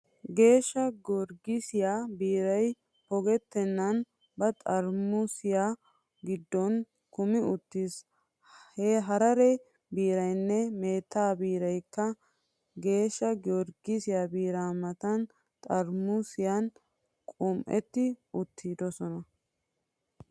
Geeshsha Giyorgissiyaa biiray pogettennan ba xaramuusiyaa giddon kumi uttiis. Harare biiraynne meetta biiraykka Geeshsha Giyorgissiyaa biiraa matan xaramuusiyaan qum'ettidi uttidosona.